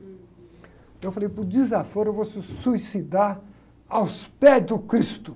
Então eu falei, por desaforo, eu vou me suicidar aos pés do Cristo.